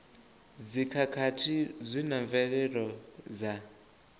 dzikhakhathi zwi na mvelelo dza